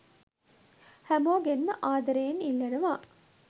හැමෝගෙන්ම ආදරයෙන් ඉල්ලනව.